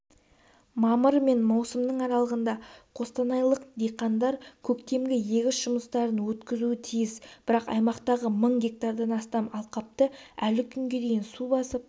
мамырдың мен маусымның аралығында қостанайлық диқандар көктемгі егіс жұмыстарын өткізуі тиіс бірақ аймақтағы мың гектардан астам алқапты әлі күнге су басып